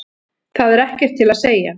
Það er ekkert til að segja.